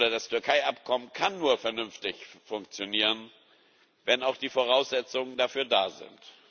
Das Türkei Abkommen kann nur vernünftig funktionieren, wenn auch die Voraussetzungen dafür da sind.